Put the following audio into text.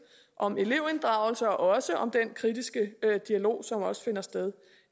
om elevinddragelse og også om den kritiske dialog som også finder sted